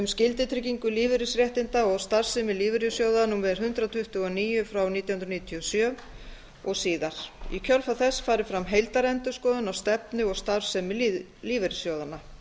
skyldutryggingu lífeyrisréttinda og starfsemi lífeyrissjóða númer hundrað tuttugu og níu nítján hundruð níutíu og sjö og síðar í kjölfar þess fari fram heildarendurskoðun á stefnu og starfsemi lífeyrissjóðanna